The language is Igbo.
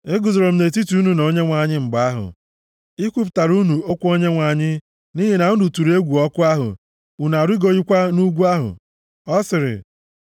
E guzoro m nʼetiti unu na Onyenwe anyị mgbe ahụ, ikwupụtara unu okwu Onyenwe anyị, nʼihi na unu tụrụ egwu ọkụ ahụ, unu arịgoghịkwa nʼugwu ahụ. Ọ sịrị: